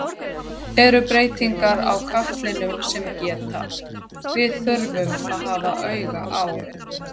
Eru breytingar á katlinum sem geta, við þurfum að hafa auga á?